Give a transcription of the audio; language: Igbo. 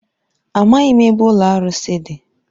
Amaghị m ebe ụlọ arụsị dị.